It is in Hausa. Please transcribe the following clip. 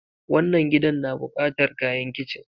wannann gidan na bukatar kayan kitchen.